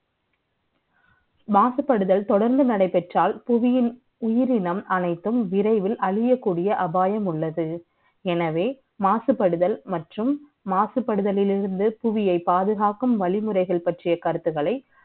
மாசுபடுதல் தொடர்ந்து நடைபெற்றால் புவியின் உயிரினம் அனைத்தும் விரைவில் அழியக்கூடிய அபாயம் உள்ளது எனவே மாசுபடுதல் மற்றும் மாசுபடுதல் இருந்து பூமியை பாதுகாக்கும் வழிமுறை பற்றிய கருத்துகளை